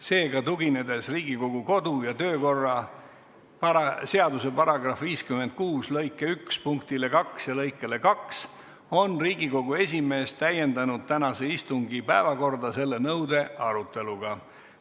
Seega, tuginedes Riigikogu kodu- ja töökorra seaduse § 56 lõike 1 punktile 2 ja lõikele 2, on Riigikogu esimees täiendanud tänase istungi päevakorda selle nõude aruteluga.